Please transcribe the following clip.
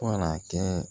Fo ka n'a kɛ